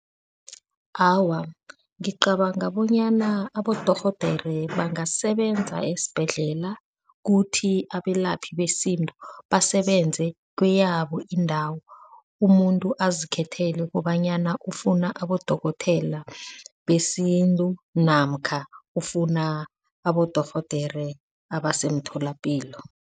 Awa, ngicabanga bonyana abodorhodere bangasebenza esibhedlela kuthi abelaphi besintu basebenze kweyabo indawo, umuntu azikhethele kobanyana ufuna abodokotela besintu namkha ufuna abodorhodere abase emtholapilo.